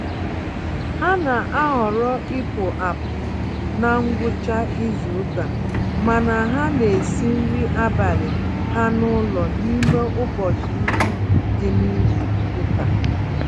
Ha na-ahọrọ ịpụ-apụ na ngwụcha izuka, mana ha n'esi nri abalị ha n'ụlọ n'ime ụbọchị ndị dị nizuka